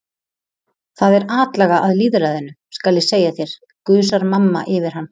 Það er atlaga að lýðræðinu, skal ég segja þér, gusar mamma yfir hann.